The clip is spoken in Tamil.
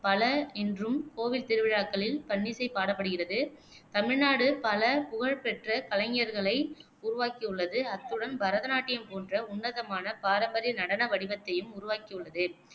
பல இன்றும் கோவில் திருவிழாக்களில் பண்ணிசை பாடப்படுகிறது. தமிழ்நாடு பல புகழ்பெற்ற கலைஞர்களை உருவாக்கியுள்ளது, அத்துடன் பரத நாட்டியம் போன்ற உன்னதமான பாரம்பரிய நடன வடிவத்தையும் உருவாக்கியுள்ளது